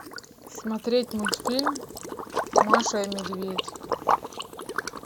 смотреть мультфильм маша и медведь